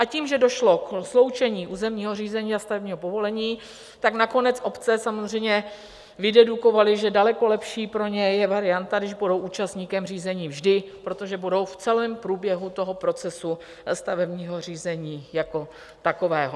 A tím, že došlo ke sloučení územního řízení a stavebního povolení, tak nakonec obce samozřejmě vydedukovaly, že daleko lepší pro ně je varianta, když budou účastníkem řízení vždy, protože budou v celém průběhu toho procesu stavebního řízení jako takového.